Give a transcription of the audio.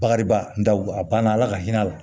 Bakaribaw a banna ala ka hinɛ a la